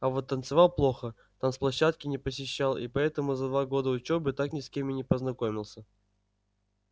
а вот танцевал плохо танц площадки не посещал и поэтому за два года учёбы так ни с кем и не познакомился